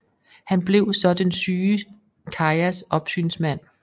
Han blev så den syge Kayas opsynsmand